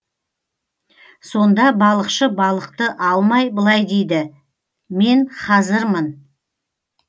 сонда балықшы балықты алмай былай дейді мен хазырмын